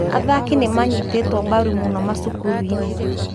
Athaki nĩ manyitĩtwo mbaru mũno macukuru-inĩ